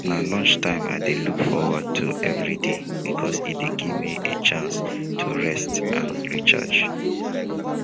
na lunchtime i dey look forward to every day because e dey give me a chance to rest and recharge